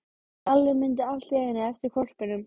Lalli mundi allt í einu eftir hvolpinum.